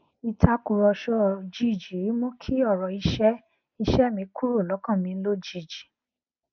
ìtàkùrọsọ òjijì mú kí ọrọ iṣẹ iṣẹ mi kúrò lọkàn mi lójijì